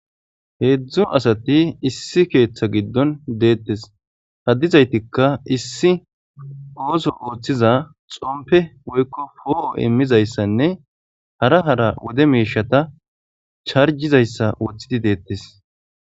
Heedzdzu asati issi keeththa giddon deettes haddizaytikka issi ooso ooththiza xompe woykko po'o immizayssanne hara hara wode meishata charjizayssa woththidi deettes.